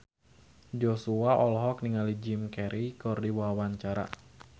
Joshua olohok ningali Jim Carey keur diwawancara